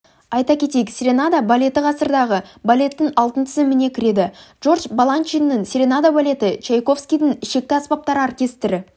айта кетейік серенада балеті ғасырдағы балеттің алтын тізіміне кіреді джордж баланчиннің серенада балеті чайковскийдіңішекті аспаптар оркестрі